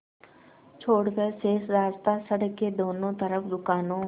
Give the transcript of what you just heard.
छोड़कर शेष रास्ता सड़क के दोनों तरफ़ दुकानों